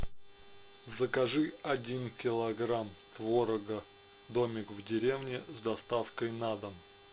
закажи один килограмм творога домик в деревне с доставкой на дом